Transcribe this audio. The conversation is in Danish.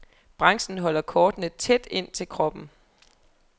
Branchen holder kortene tæt ind til kroppen.